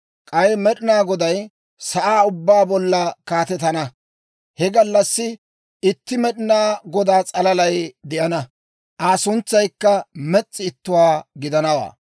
K'ay Med'inaa Goday sa'aa ubbaa bolla kaatetana; he gallassi itti Med'inaa Godaa s'alalay de'ana; Aa suntsaykka mes's'i ittuwaa gidanawaa.